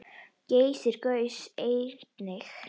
Geysir gaus einnig.